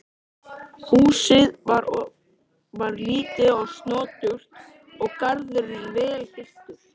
Húsið var lítið og snoturt og garðurinn vel hirtur.